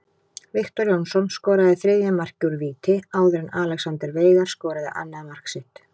Viktor Jónsson skoraði þriðja markið úr víti áður en Alexander Veigar skoraði annað mark sitt.